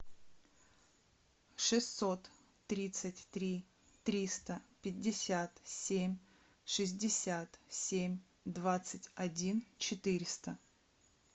шестьсот тридцать три триста пятьдесят семь шестьдесят семь двадцать один четыреста